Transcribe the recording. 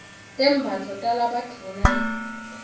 tembatfo talabadvuna hyedula